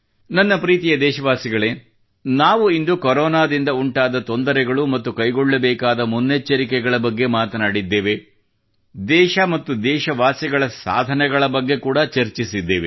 ನನ್ನ ಪ್ರೀತಿಯ ದೇಶವಾಸಿಗಳೇ ನಾವು ಇಂದು ಕೊರೋನಾದಿಂದ ಉಂಟಾದ ತೊಂದರೆಗಳು ಮತ್ತು ಕೈಗೊಳ್ಳಬೇಕಾದ ಮುನ್ನೆಚ್ಚರಿಕೆಗಳ ಬಗ್ಗೆ ಮಾತನಾಡಿದ್ದೇವೆ ದೇಶ ಮತ್ತು ದೇಶವಾಸಿಗಳ ಸಾಧನೆಗಳ ಬಗ್ಗೆ ಕೂಡಾ ಚರ್ಚಿಸಿದ್ದೇವೆ